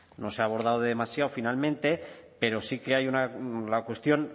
no se ha abordado demasiado finalmente pero sí que hay la cuestión